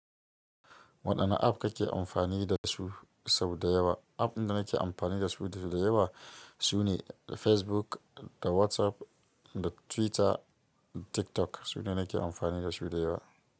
Waɗanne app kake amfani da su sau da yawa? App ɗin da nake amfani da su sau da yawa sune Facebook da WhatsApp da Twitter da TikTok. Su ne nake amfani da su da yawa.